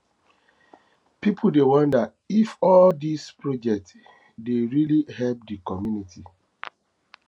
pipo dey wonder if all dise projects dey really help di community